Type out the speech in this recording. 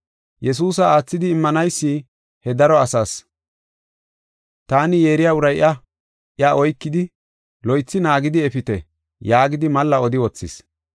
Yesuusa aathidi immanaysi he daro asaas, “Taani yeeriya uray iya; iya oykidi, loythi naagidi efite” yaagidi malla odi wothis.